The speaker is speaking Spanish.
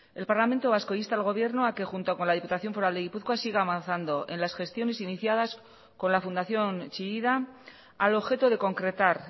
el parlamento vasco insta al gobierno a que junto con la diputación foral de gipuzkoa siga avanzando en las gestiones iniciadas con la fundación chillida al objeto de concretar